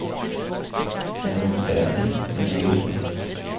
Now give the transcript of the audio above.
Den er moderne men ligger smukt.